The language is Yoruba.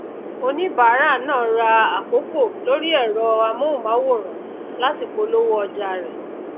oníbàárà náà ra àkokò lórí èrọ amóhùnmáwòrán láti polówó òjà rè